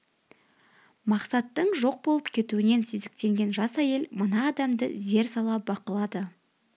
мақсаттың жоқ болып кетуінен сезіктенген жас әйел мына адамды зер сала бақылады